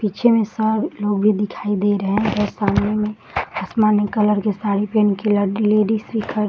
पीछे में सर लोग भी दिखाई दे रहे हैं उधर सामने में आसमानी कलर की साड़ी पेहन के ल लेडीज भी खड़ी --